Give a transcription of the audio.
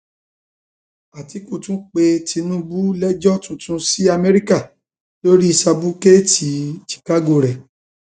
àtìkù tún pe tinubu lẹjọ tuntun s amerika lórí sábùkẹẹtì chicago rẹ